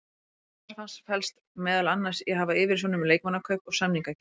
Starf hans felst meðal annars í að hafa yfirsjón um leikmannakaup og samningagerð.